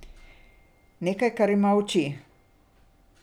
Nekaj, kar ima oči.